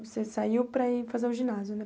Você saiu para ir fazer o ginásio, né?